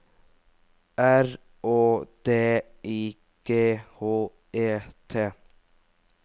R Å D I G H E T